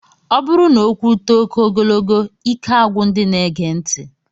Ọ bụrụ na okwu too oké ogogolo, ike agwụ ndị na-ege ntị.